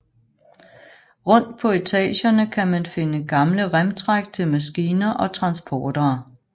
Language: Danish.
Rundt på etagerne kan man finde gamle remtræk til maskiner og transportere